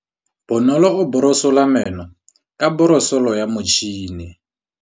Bonolô o borosola meno ka borosolo ya motšhine.